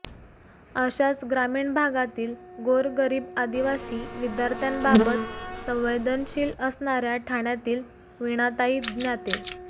अशाच ग्रामीण भागातील गोर गरीब आदिवासी विद्यार्थ्यांबाबत संवेदनशील असणाऱ्या ठाण्यातील वीणाताई ज्ञाते